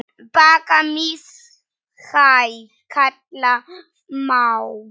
Bakka mishæð kalla má.